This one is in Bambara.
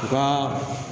U ka